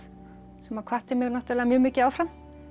sem hvatti mig mjög mikið áfram